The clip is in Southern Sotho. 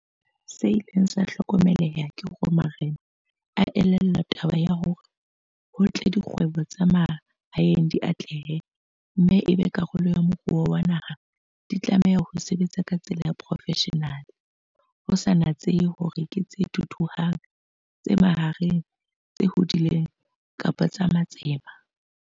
Se ileng sa hlokomeleha ke hore marena a elellwa taba ya hore ho tle dikgwebo tsa mahaeng di atlehe mme e be karolo ya moruo wa naha ena, di tlameha ho sebetsa ka tsela ya profeshenale ho sa natsehe hore ke tse thuthuhang, tse mahareng, tse hodileng kapa tsa matsema.